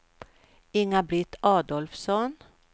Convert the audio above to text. Inga-Britt Adolfsson